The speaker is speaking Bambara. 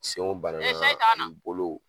Senw bana na ani bolow